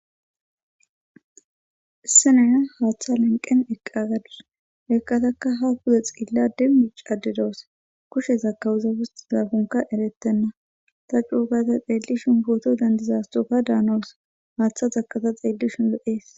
Issenaya haaththa lenqen eqqa gadus ekqataka ha kuze xiilla demmi caadedoos kushe zakawuza wusti zafunka erettenna ta cuugata xeelli shinbooto dandizastoka daanos haaththa zakata xeelli shunlo'ees